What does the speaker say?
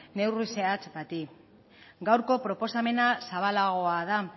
neurri zehatz bati gaurko proposamena zabalagoa da